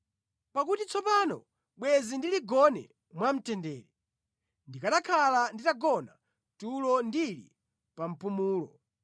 Pakuti tsopano bwenzi ndili gone mwamtendere; ndikanakhala nditagona tulo ndili pa mpumulo